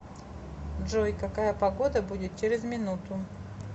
джой какая погода будет через минуту